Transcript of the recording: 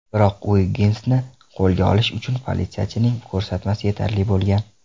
Biroq Uigginsni qo‘lga olish uchun politsiyachining ko‘rsatmasi yetarli bo‘lgan.